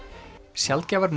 sjaldgæfar